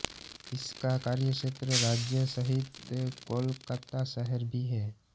इसका कार्यक्षेत्र राज्य सहित कोलकाता शहर भी है